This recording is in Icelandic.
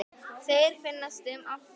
Þeir finnast um allt land.